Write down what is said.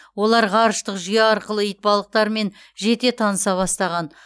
олар ғарыштық жүйе арқылы итбалықтармен жете таныса бастаған